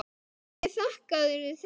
Hverju þakkarðu þetta?